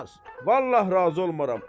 Vallah razı olmaram.